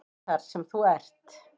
Þar sem þú ert?